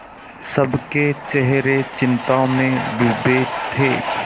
सबके चेहरे चिंता में डूबे थे